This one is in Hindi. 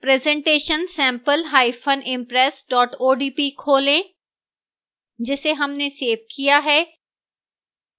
presentation sampleimpress odp खोलें जिसे हमने सेव किया है